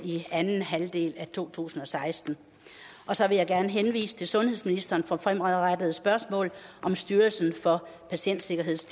i anden halvdel af to tusind og seksten så vil jeg gerne henvise til sundhedsministeren for fremadrettede spørgsmål om styrelsen for patientsikkerheds